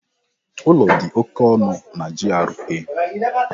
Ụlọ dị oké ọnụ na GRA.